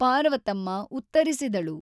Parvathamma ಉತ್ತರಿಸಿದಳು.